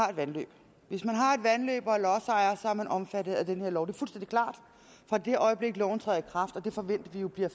har et vandløb hvis man har et vandløb og er lodsejer er man omfattet af den her lov det er fuldstændig klart fra det øjeblik loven træder i kraft og det forventer vi jo bliver